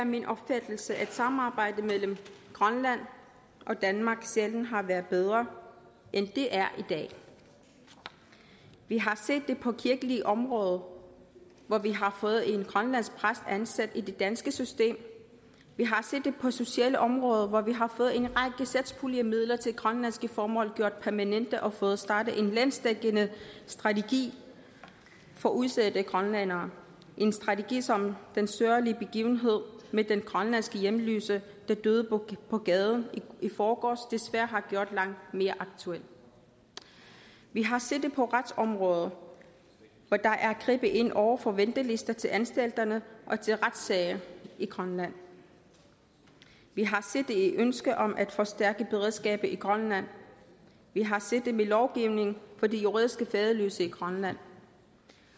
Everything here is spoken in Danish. er min opfattelse at samarbejdet mellem grønland og danmark sjældent har været bedre end det er i dag vi har set det på det kirkelige område hvor vi har fået en grønlandsk præst ansat i det danske system vi har set det på det sociale område hvor vi har fået en række satspuljemidler til grønlandske formål gjort permanente og fået startet en landsdækkende strategi for udsatte grønlændere en strategi som den sørgelig begivenhed med den grønlandske hjemløse der døde på på gaden i forgårs desværre har gjort langt mere aktuel vi har set det på retsområdet hvor der er grebet ind over for ventelister til anstalterne og til retssager i grønland vi har set det i ønsket om at forstærke beredskabet i grønland vi har set det med lovgivningen for de juridisk faderløse i grønland